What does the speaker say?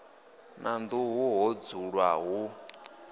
na nḓuhu ho dzulwa hu